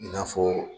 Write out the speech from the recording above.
I n'a fɔ